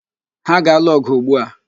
Ha ga-alụ ọ̀gụ̀ ugbu a.